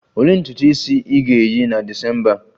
Olee ntutu isi ị ga-eyi na December a?